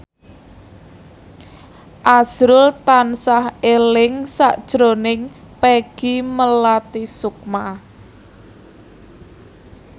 azrul tansah eling sakjroning Peggy Melati Sukma